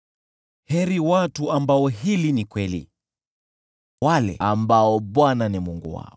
Heri watu ambao hili ni kweli; heri wale ambao Bwana ni Mungu wao.